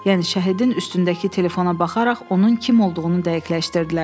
Yəni şəhidin üstündəki telefona baxaraq onun kim olduğunu dəqiqləşdirdilər.